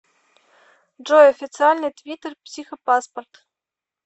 джой официальный твиттер психопаспорт